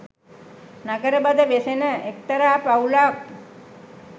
නගරබද වෙසෙන එක්තරා පවුලක්